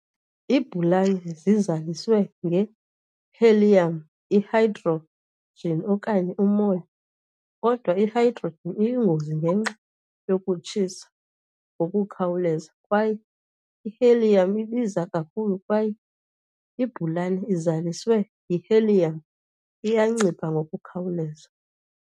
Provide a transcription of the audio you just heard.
Iibhaluni zizaliswe nge-helium, i-hydrogen okanye umoya, kodwa i-hydrogen iyingozi ngenxa yokutshisa ngokukhawuleza kwaye i-helium ibiza kakhulu kwaye ibhaluni ezaliswe yi-helium iyancipha ngokukhawuleza.